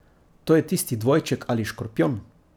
To je tisti dvojček ali škorpijon.